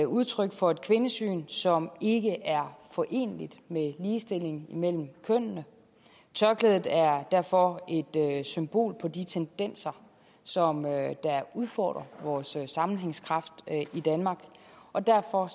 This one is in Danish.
udtryk for et kvindesyn som ikke er foreneligt med ligestilling mellem kønnene tørklædet er derfor et symbol på de tendenser som udfordrer vores sammenhængskraft i danmark og derfor